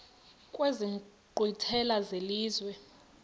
kwezi nkqwithela zelizwe